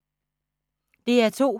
DR2